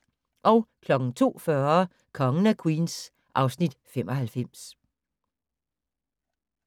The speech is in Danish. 02:40: Kongen af Queens (Afs. 95)